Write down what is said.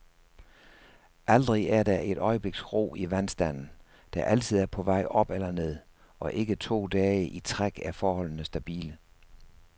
Aldrig er der et øjebliks ro i vandstanden, der altid er på vej op eller ned, og ikke to dage i træk er forholdene stabile.